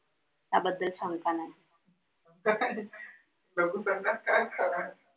त्याबद्दल सांगता नाय येत